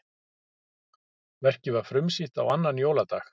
Verkið var frumsýnt á annan jóladag